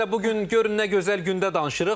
Özü də bu gün görün nə gözəl gündə danışırıq.